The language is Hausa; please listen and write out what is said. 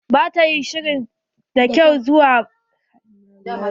Ba ta yi shiri da kyau zuwa makaranta ba.